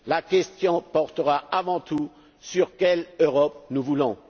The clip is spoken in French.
La question portera avant tout sur l'Europe que nous voulons.